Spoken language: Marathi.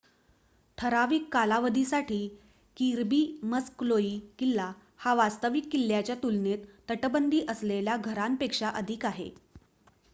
ठराविक कालावधीसाठी किर्बी मक्सलोइ किल्ला हा वास्तविक किल्ल्याच्या तुलनेत तटबंदी असलेल्या घरापेक्षा अधिक आहे